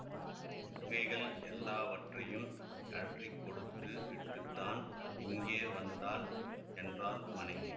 நகைகள் எல்லாவற்றையும் கழற்றிக் கொடுத்து விட்டுத்தான் இங்கே வந்தாள் என்றாள் மனைவி